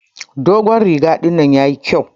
Dogon riga dinnan yayi kƴau